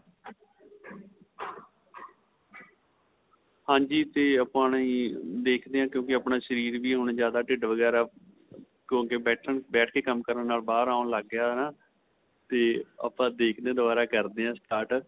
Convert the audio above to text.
ਹਾਂਜੀ ਤੇ ਆਪਾਂ ਹੁਣ ਦੇਖਦੇ ਆਂ ਕਿਉਂਕਿ ਆਪਣਾ ਸ਼ਰੀਰ ਵੀ ਹੁਣ ਜਿਆਦਾ ਠਿੱਡ ਵਗੇਰਾ ਕਿਉਂਕਿ ਬੈਠਣ ਬੇਠ ਕੇ ਕੰਮ ਕਰਨ ਨਾਲ ਬਹਾਰ ਆਉਣ ਲੱਗ ਗਿਆ ਤੇ ਆਪਾਂ ਦੇਖਦੇ ਆਂ ਦੁਬਾਰਾ ਕਰਦੇ ਹਾਂ start